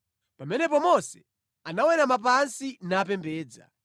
Pamenepo Mose anawerama pansi napembedza.